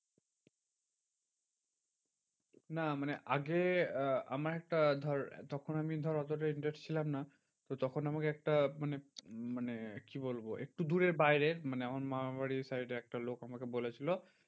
না মানে আগে আহ আমার একটা ধর তখন আমি ধর অতটা interest ছিলাম না। তো তখন আমাকে একটা মানে মানে কি বলবো একটু দূরের বাইরের মানে আমার মামার বাড়ির side এর একটা লোক আমাকে বলেছিলো